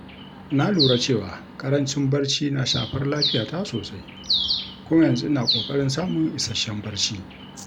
Na lura cewa ƙarancin barci na shafar lafiyata sosai kuma yanzu ina ƙoƙarin samun isasshen barci.